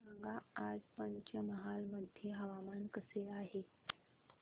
सांगा आज पंचमहाल मध्ये हवामान कसे आहे